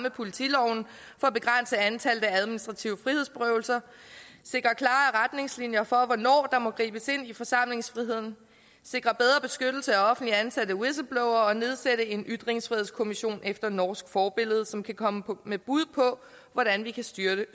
af politiloven for at begrænse antallet af administrative frihedsberøvelser at for hvornår der må gribes ind i forsamlingsfriheden sikre bedre beskyttelse af offentligt ansatte whistleblowere og nedsætte en ytringsfrihedskommission efter norsk forbillede som kan komme med bud på hvordan vi kan styrke